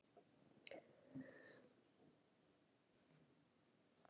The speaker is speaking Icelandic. Strikalínurnar sýna lögin eins og þau voru áður en þau máðust.